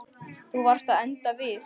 Þú varst að enda við.